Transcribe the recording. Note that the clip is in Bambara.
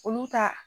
Olu ta